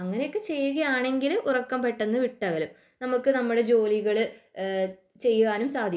അങ്ങനെയൊക്കെ ചെയ്യുക ആണെങ്കിൽ ഉറക്കം പെട്ടെന്ന് വിട്ടകലും നമുക്ക് നമ്മുടെ ജോലികൾ ചെയ്യാനും സാധിക്കും